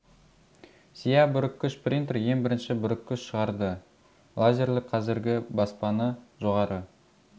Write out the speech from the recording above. сия бүріккіш принтер ең бірінші бүріккіш шығарды лазерлі қазіргі баспаны жоғары